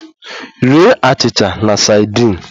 Rie achịcha na sadin!